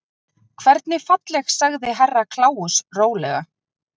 Hvernig falleg sagði Herra Kláus rólega.